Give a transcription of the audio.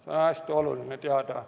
Seda on hästi oluline teada.